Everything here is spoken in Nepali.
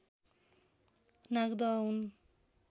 नागदह हुन्